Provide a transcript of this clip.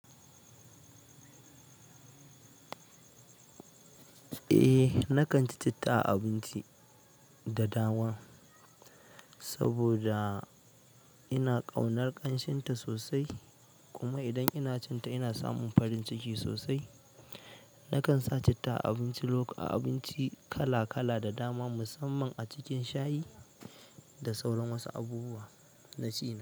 Eh, nakan ci citta a abinci da dama saboda ina ƙaunar ƙanshin ta sosai kuma idan ina cin ta ina samun farin ciki sosai. Nakan sa citta a abinci kala-kala da dama musamman a cikin shayi da sauran wasu abubuwa na ci na.